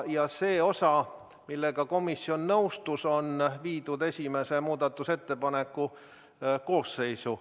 Ja see osa, millega komisjon nõustus, on viidud esimese muudatusettepaneku sõnastusse.